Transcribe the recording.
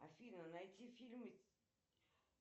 афина найти фильмы